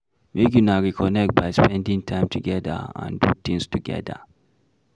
Make una reconnect by spending time together and do things together